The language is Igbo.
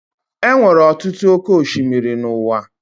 Enwere ọtụtụ oké osimiri n'uwa